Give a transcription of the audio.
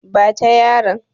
Ba ta yaron!